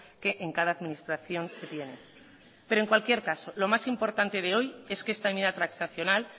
que en cada administración se tiene pero en cualquier caso lo más importante de hoy es que esta enmienda transaccional